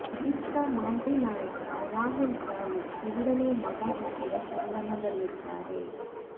ಇತ್ತ ಮಾಜಿ ನಾಯಕ ರಾಹುಲ್ ದ್ರಾವಿಡ್ ಎರಡನೇ ಮಗ ಹುಟ್ಟಿದ ಸಂಭ್ರಮದಲ್ಲಿದ್ದಾರೆ